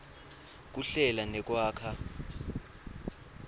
kuhlela nekwakha